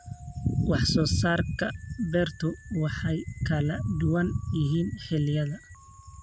Wax soo saarka beertu way kala duwan yihiin xilliyada.